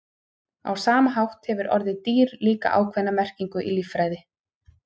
á sama hátt hefur orðið „dýr“ líka ákveðna merkingu í líffræði